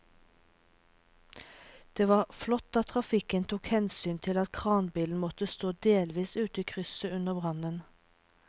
Det var flott at trafikken tok hensyn til at kranbilen måtte stå delvis ute i krysset under brannen.